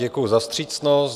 Děkuji za vstřícnost.